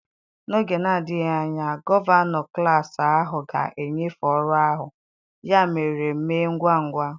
N'oge na-adịghị anya, gọvanọ klas ahụ ga-enyefe ọrụ ahụ, ya mere mee ngwa ngwa.